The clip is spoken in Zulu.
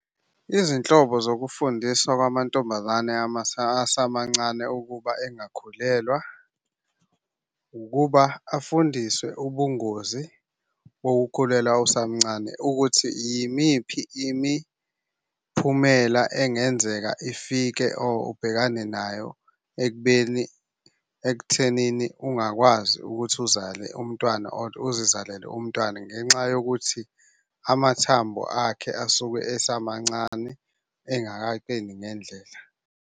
Izinhlobo zokufundiswa kwamantombazane asamancane ukuba engakhulelwa, ukuba afundiswe ubungozi bokukhulelwa usamncane ukuthi yimiphi imiphumela engenzeka ifike or ubhekane nayo ekubeni ekuthenini ungakwazi ukuthi uzale umntwana or uzizalele umntwana ngenxa yokuthi amathambo akhe asuke esemancane engakaqini ngendlela.